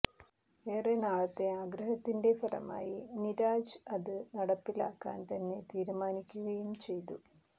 ഏറെനാളത്തെ ആഗ്രഹത്തിന്റെ ഫലമായി നിരാജ് അത് നടപ്പിലാക്കാൻ തന്നെ തീരുമാനിക്കുകയും ചെയ്തു